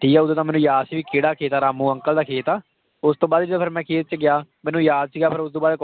ਠੀਕ ਹੈ ਉਦੋਂ ਤਾਂ ਮੈਨੂੰ ਯਾਦ ਸੀ ਵੀ ਕਿਹੜਾ ਖੇਤ ਆ ਰਾਮੂ ਅੰਕਲ ਦਾ ਖੇਤ ਆ, ਉਸ ਤੋਂ ਬਾਅਦ ਮੈਂ ਖੇਤ 'ਚ ਗਿਆ, ਮੈਨੂੰ ਯਾਦ ਸੀਗਾ ਫਿਰ ਉਸ ਤੋਂ ਬਾਅਦ